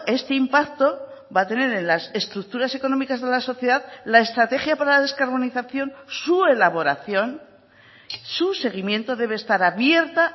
este impacto va a tener en las estructuras económicas de la sociedad la estrategia para la descarbonización su elaboración su seguimiento debe estar abierta